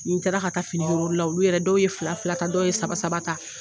Ni taara ka taa fini yira olu la olu yɛrɛ dɔw ye fila fila ta dɔw ye saba saba ta